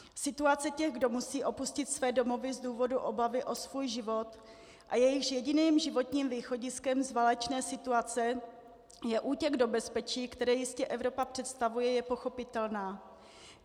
Situace těch, kdo musí opustit své domovy z důvodu obavy o svůj život a jejichž jediným životním východiskem z válečné situace je útěk do bezpečí, které jistě Evropa představuje, je pochopitelná.